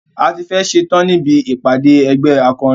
A tí fẹ́ ẹ̀ ṣetán níbi ìpàdé ẹgbẹ́ akọrin.